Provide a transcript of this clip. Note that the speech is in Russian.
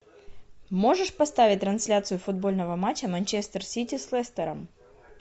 можешь поставить трансляцию футбольного матча манчестер сити с лестером